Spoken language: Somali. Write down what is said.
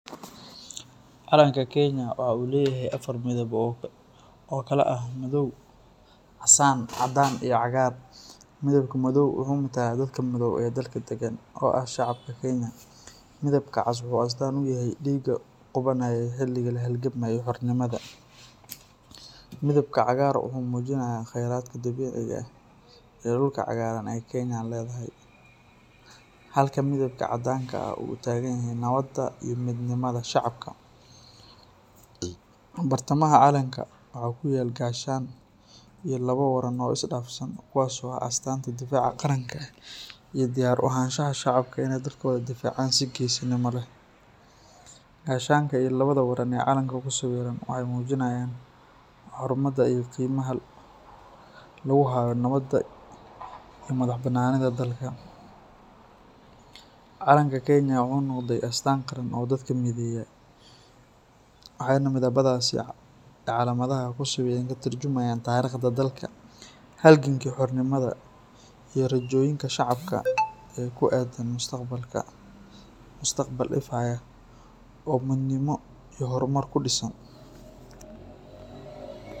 Calanka Kenya waxa uu leeyahay afar midab oo kala ah madow, casaan, caddaan, iyo cagaar. Midabka madow wuxuu matalaa dadka madow ee dalka deggan, oo ah shacabka Kenya. Midabka cas wuxuu astaan u yahay dhiigga qubanayay xilligii la halgamayay xornimada. Midabka cagaar wuxuu muujinayaa khayraadka dabiiciga ah iyo dhulka cagaaran ee Kenya leedahay, halka midabka caddaanku uu u taagan yahay nabadda iyo midnimada shacabka. Bartamaha calanka waxa ku yaal gaashaan iyo laba waran oo isdhaafsan, kuwaas oo ah astaanta difaaca qaranka iyo diyaar u ahaanshaha shacabka inay dalkooda u difaacaan si geesinimo leh. Gaashaanka iyo labada waran ee calanka ku sawiran waxay muujinayaan xurmada iyo qiimaha lagu hayo nabadda iyo madaxbannaanida dalka. Calanka Kenya wuxuu noqday astaan qaran oo dadka mideeya, waxayna midabadiisa iyo calaamadaha ku sawiran ka tarjumayaan taariikhda dalka, halgankii xornimada, iyo rajooyinka shacabka ee ku aaddan mustaqbal ifaya oo midnimo iyo horumar ku dhisan.